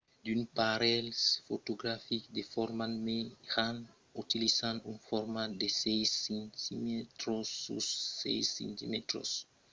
d'unes aparelhs fotografics de format mejan utilizan un format de 6 cm sus 6 cm mai precisament un negatiu de 56 mm sus 56 mm